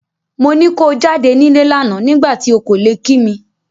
Mo ni ko jáde nílé lánàá nígbà tí ò kò lè kí mi.